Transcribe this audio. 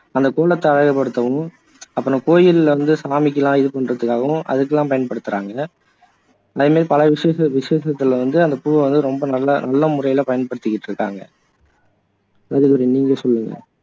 அந்த கோலத்தை அழகுபடுத்தவும் அப்பறம் கோயில்ல உள்ள சாமிக்கெல்லாம் இது பண்றதுக்காகவும் அதுக்கெல்லாம் பயன்படுத்துறாங்க அது மாதிரி பல விஷயத்துக விஷேசத்துல வந்து அந்த பூவை வந்து ரொம்ப நல்ல நல்ல முறையில பயன்படுத்திக்கிட்டு இருக்காங்க ராஜதுரை நீங்க சொல்லுங்க